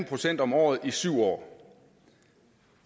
procent om året i syv år